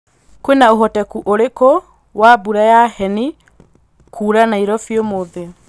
kwīna ūhotekeku ūriku wa mbura ya heni kura nairobi ūmuthī